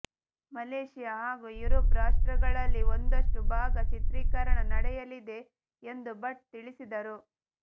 Malaysia ಹಾಗೂ Europe ರಾಷ್ಟ್ರಗಳಲ್ಲಿ ಒಂದಷ್ಟು ಭಾಗ ಚಿತ್ರೀಕರಣ ನಡೆಯಲಿದೆ ಎಂದೂ ಭಟ್ ತಿಳಿಸಿದರು